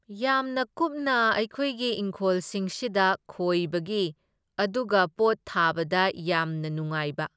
ꯌꯥꯝꯅ ꯀꯨꯞꯅ ꯑꯩꯈꯣꯏꯒꯤ ꯢꯪꯈꯣꯜꯁꯤꯡꯁꯤꯗ ꯈꯣꯏꯕꯒꯤ ꯑꯗꯨꯒ ꯄꯣꯠ ꯊꯥꯕꯗ ꯌꯥꯝꯅ ꯅꯨꯡꯉꯥꯏꯕ꯫